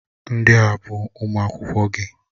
Ndị a bụ ụmụ akwụkwọ gị.